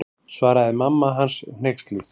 Svaraði mamma hans hneyksluð.